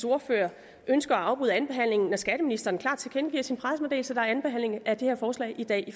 ordfører ønsker at afbryde andenbehandlingen når skatteministeren klart tilkendegiver i sin pressemeddelelse at der er anden behandling af det her forslag i dag i